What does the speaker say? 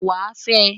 Wàá fẹ!